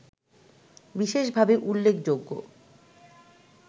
বিশেষভাবে উল্লেখযোগ্য